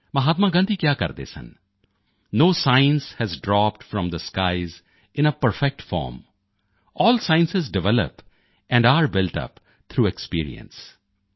ਮਹਾਤਮਾ ਗਾਂਧੀ ਕਿਹਾ ਕਰਦੇ ਸਨ no science has dropped from the skies in a perfect form all sciences develop and are built up through experience